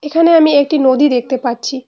এখানে আমি একটি নদী দেখতে পাচ্ছি।